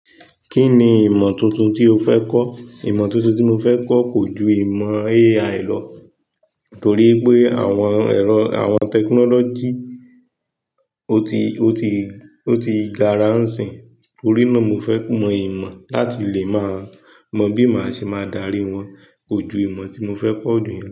Kí ni ìmọ̀ tuntun tí o fẹ́ kọ́? Ìmọ̀ tuntun tí mo fẹ́ kọ́ kò ju ìmọ̀ AI lọ, torí pé àwọn ẹ̀rọ àwọn technology ó ti, ó ti, ó ti gara hàn sìn. Nítorí náà mo fẹ́ mọ ìmọ̀ láti lè máa mọ bí màá ṣe máa darí wọn. Kò ju ìmọ̀ tí mo fẹ́ kọ dún yen.